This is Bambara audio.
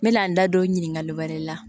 N mɛna n da don ɲininkali wɛrɛ la